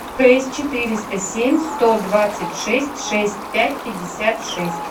шесть четыреста семь сто двадцать шесть шесть пять пятьдесят шесть